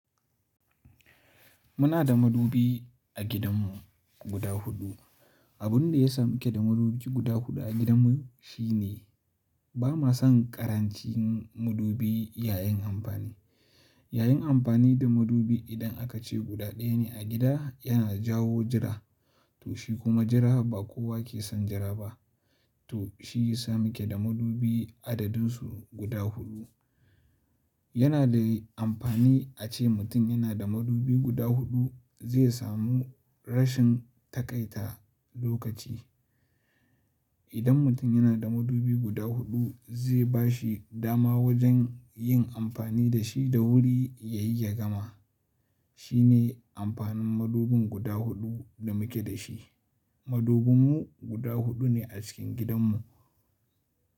Muna da madubi a gidanmu guda huɗu. Abin da ya sa muke da madubi guda huɗu a gidanmu shi ne ba ma son ƙarancin madubi yayin amfani. Yayin amfani da madubi idan aka ce guda ɗaya ne a gida yana jawo jira to shi kuma jira ba kowa ke son jira ba. To shi ya sa muke da madubi adadinsu guda huɗu. Yana da amfani a ce mutum yana da madubi guda huɗu zai samu rashin taƙaita lokaci. Idan mutum yana da madubi guda huɗu zai ba shi dama wajen yin amfani da shi da wuri ya yi ya gama. Shi ne amfanin madubin guda huɗu da muke da shi. Madubinmu guda huɗu ne a cikin gidanmu.